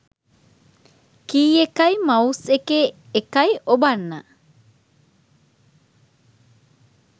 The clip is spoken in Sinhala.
කී එකයි මවුස් එකේ එකයි ඔබන්න.